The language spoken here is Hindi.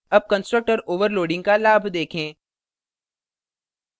अब constructor overloading का लाभ देखें